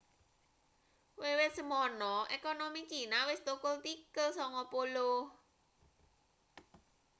wiwit semana ekonomi cina wis thukul tikel 90